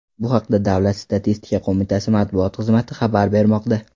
Bu haqda Davlat statistika qo‘mitasi matbuot xizmati xabar bermoqda .